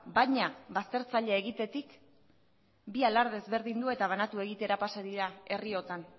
baina baztertzailea egitetik bi alarde ezberdindu eta banatu egitera pasa dira herriotan